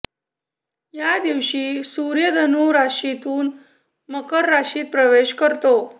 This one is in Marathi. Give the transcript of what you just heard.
या दिवशी सुर्य धनू राशीतून मकर राशीत प्रवेश करतो